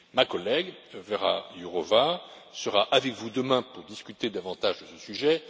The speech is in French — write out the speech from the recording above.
Ma collègue Věra Jourová sera avec vous demain pour discuter davantage sur ce sujet.